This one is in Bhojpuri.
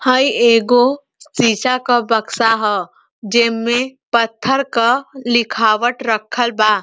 हई एगो शीशा क बक्सा ह जेमें पत्थर क लिखावट रखल बा।